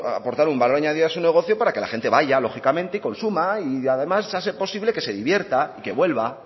aportar un valor añadido a su negocio para que la gente vaya lógicamente y consuma y además si ha de ser posible que se divierta y que vuelva